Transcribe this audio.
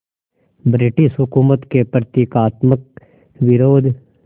British हुकूमत के प्रतीकात्मक विरोध